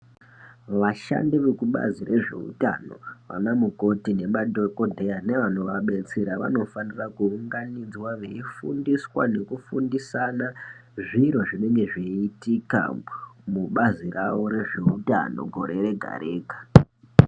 Vashandi vekubazi rezvehutano vana mukoti nemadhokodheya nevano vadetsera vanofana kuunganidzwa veifundiswa nekufundisana Zviro zvinenge zveitika mubazi rawo rehutano gore Rega Rega.